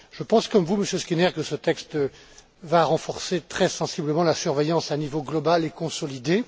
Je pense comme vous Monsieur Skinner, que ce texte va renforcer très sensiblement la surveillance à un niveau global et consolidé.